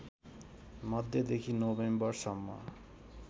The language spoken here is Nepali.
मध्यदेखि नोभेम्बरसम्म